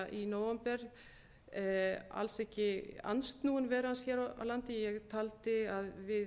í nóvember alls ekki andsnúin veru hans hér á landi ég taldi að við